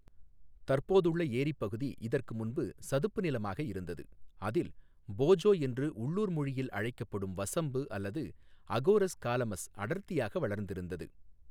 தற்போதுள்ள ஏரிப் பகுதி இதற்கு முன்பு சதுப்பு நிலமாக இருந்தது, அதில் போஜோ என்று உள்ளூர் மொழியில் அழைக்கப்படும் வசம்பு அல்லது அகோரஸ் காலமஸ் அடர்த்தியாக வளர்ந்திருந்தது.